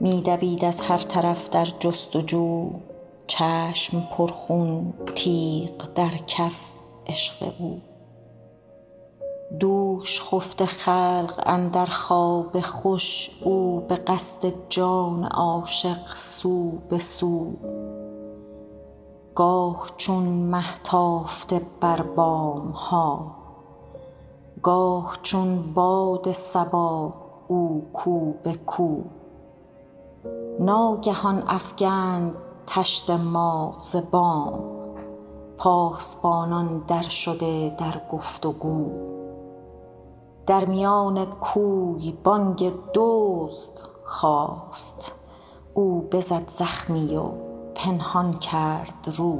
می دوید از هر طرف در جست و جو چشم پرخون تیغ در کف عشق او دوش خفته خلق اندر خواب خوش او به قصد جان عاشق سو به سو گاه چون مه تافته بر بام ها گاه چون باد صبا او کو به کو ناگهان افکند طشت ما ز بام پاسبانان درشده در گفت و گو در میان کوی بانگ دزد خاست او بزد زخمی و پنهان کرد رو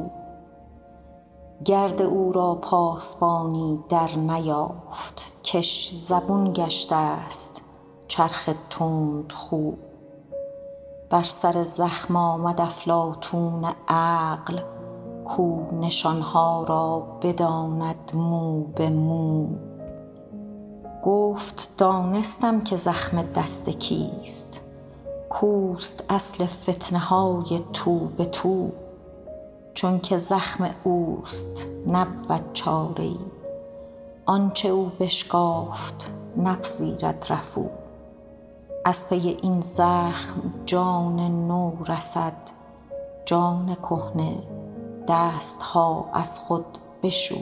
گرد او را پاسبانی درنیافت کش زبون گشته ست چرخ تندخو بر سر زخم آمد افلاطون عقل کو نشان ها را بداند مو به مو گفت دانستم که زخم دست کیست کو است اصل فتنه های تو به تو چونک زخم او است نبود چاره ای آنچ او بشکافت نپذیرد رفو از پی این زخم جان نو رسید جان کهنه دست ها از خود بشو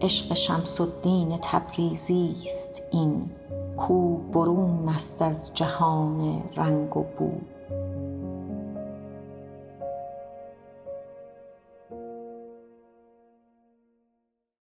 عشق شمس الدین تبریزی است این کو برون است از جهان رنگ و بو